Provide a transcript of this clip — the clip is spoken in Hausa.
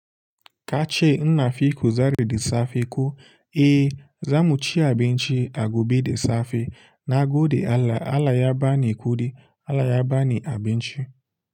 Ka ce ina fi kuzari da safe ko? Eh, za mu ci abinci a gobe da safe. Na gode Allah, Allah ya bani kuɗi, Allah ya bani abinci.